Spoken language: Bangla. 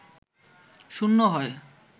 শূন্য হয়